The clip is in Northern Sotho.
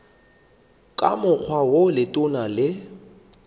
ka mokgwa wo letona le